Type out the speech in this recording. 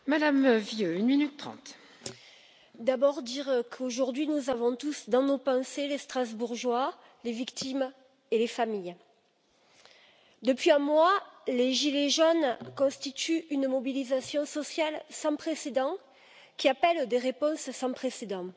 Madame la Présidente, je voudrais d'abord dire qu'aujourd'hui nous avons tous dans nos pensées les Strasbourgeois, les victimes et leurs familles. Depuis un mois, les gilets jaunes constituent une mobilisation sociale sans précédent, qui appelle des réponses sans précédent.